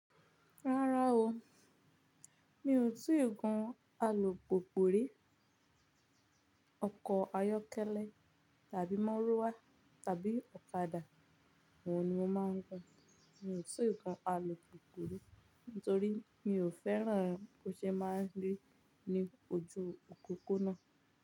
Rárá o, mi ò tiì gun àlùpùpù rí. Ayọ́kẹ́lẹ́ tàbí mọ́ruwá tàbí ọ̀kadà, oun ni mo máa ń gun. Mi ò tìì gun àlùpùpù rí nítorí mi ò fẹ́ràn bó ṣe máa ń rí ní ojú opopo ná.